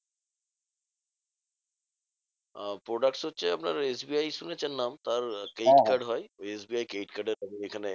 আহ products হচ্ছে আপনার S B I শুনেছেন নাম তার credit card হয় ওই S B I credit card এর এখানে